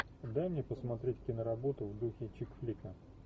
дай мне посмотреть киноработу в духе чикфлика